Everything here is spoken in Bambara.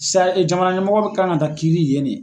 Sa jamana ɲɛmɔgɔ bɛ kan ka kiiri yen de.